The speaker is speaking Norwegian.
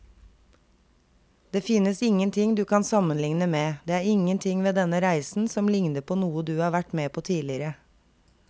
Det finnes ingenting du kan sammenligne med, det er ingenting ved denne reisen som ligner på noe du har vært med på tidligere.